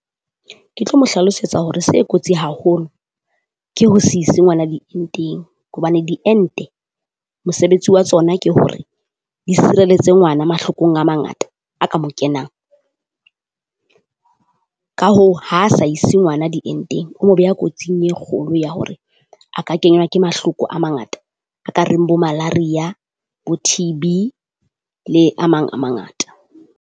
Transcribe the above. Ke tlo mo hlalosetsa hore se kotsi haholo ke ho se ise ngwala dientseng, hobane diente mosebetsi wa tsona ke hore di sireletse ngwana mahlokong a mangata a ka moo kenang. Ka hoo, ha sa ise ngwana dientseng, o mo beha kotsing e kgolo ya hore a ka kenywa ke mahloko a mangata a ka reng bo Malaria bo T_B le a mang a mangata.